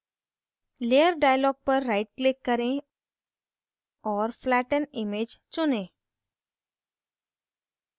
layer dialog पर right click करें और flatten image चुनें